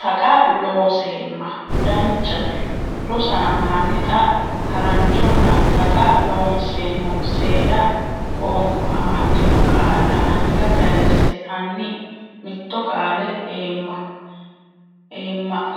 Taqa Looseemma o Danchate Rosaano hanni xa haranchonna Taqa Loonseemmo seeda qoonqo amaddino qaalla anga kayse Hanni mitto qaale eemma